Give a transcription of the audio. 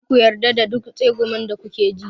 Kada ku yarda da duk tsegumin da kuke ji.